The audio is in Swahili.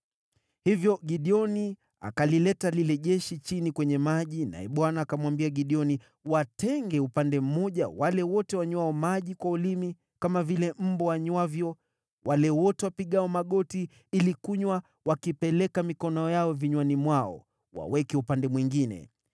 Hivyo Gideoni akalileta lile jeshi chini kwenye maji naye Bwana akamwambia Gideoni, “Watenge upande mmoja wale wote wanywao maji kwa ulimi, kama vile mbwa anywavyo, wale wote wapigao magoti ili kunywa wakipeleka mikono yao vinywani mwao, waweke upande mwingine.”